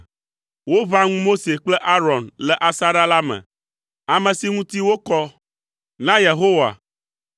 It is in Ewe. Woʋã ŋu Mose kple Aron le asaɖa la me, ame si ŋuti wokɔ na Yehowa.